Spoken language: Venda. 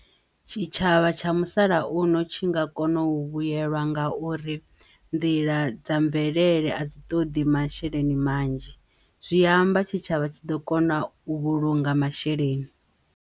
Tshitshavha tsha musalauno tshi nga kono u vhuyelwa nga uri nḓila dza mvelele a dzi ṱoḓi masheleni manzhi zwi amba tshitshavha tshi ḓo kona u vhulunga masheleni.